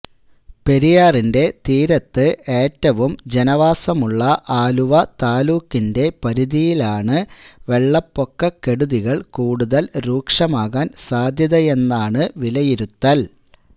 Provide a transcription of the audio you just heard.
പെരിയാറിന്റെ തീരത്ത് ഏറ്റവും ജനവാസമുള്ള ആലുവ താലൂക്കിന്റെ പരിധിയിലാണു വെള്ളപ്പൊക്ക കെടുതികൾ കൂടുതൽ രൂക്ഷമാകാൻ സാധ്യതയെന്നാണു വിലയിരുത്തൽ